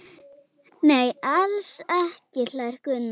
Nei, alls ekki hlær Gunnar.